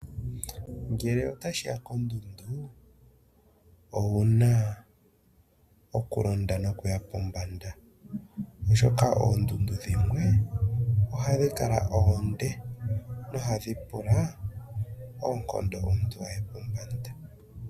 Ngele otashi ya kondundu, owuna okulonda nokuya pombanda oshoka oondundu dhimwe ohadhi kala oonde nohadhi pula oonkondo omuntu a ye pombanda.